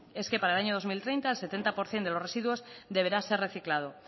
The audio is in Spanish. es que para el año dos mil treinta el setenta por ciento de los residuos deberá ser reciclado